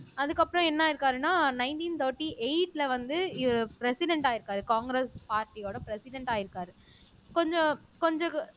அதுக்கப்புறம் என்ன ஆயிருக்காருன்னா நைன்டீன் தேர்ட்டி எயிட்ல வந்து ப்ரெசிடெண்ட் ஆயிருக்காரு காங்கிரஸ் பார்ட்டியோட ப்ரெசிடெண்ட் ஆயிருக்காரு கொஞ்சம் கொஞ்சம்